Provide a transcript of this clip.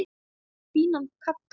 Fínan kagga!